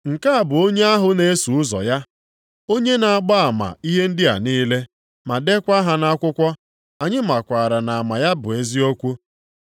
Nke a bụ onye ahụ na-eso ụzọ ya onye na-agba ama ihe ndị a niile, ma deekwa ha nʼakwụkwọ. Anyị makwaara na ama ya bụ eziokwu.